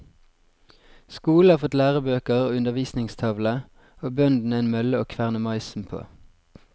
Skolen har fått lærebøker og undervisningstavle, og bøndene en mølle å kverne maisen på.